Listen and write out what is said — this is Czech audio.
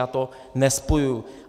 Já to nespojuji.